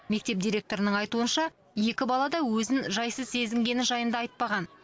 мектеп директорының айтуынша екі бала да өзін жайсыз сезінгені жайында айтпаған